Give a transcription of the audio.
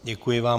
Děkuji vám.